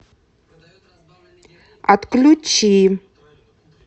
отключи